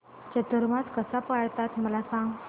चातुर्मास कसा पाळतात मला सांग